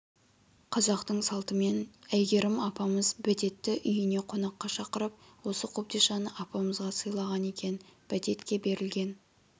қазақтың салтымен әйгерім апамыз бәтетті үйіне қонаққа шақырып осы қобдишаны апамызға сыйлаған екен бәтетке берілген